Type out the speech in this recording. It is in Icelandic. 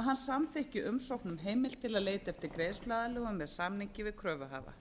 að hann samþykki umsókn um heimild til að leita eftir greiðsluaðlögun með samningi við kröfuhafa